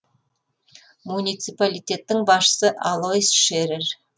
муниципалитеттің басшысы алойс шерер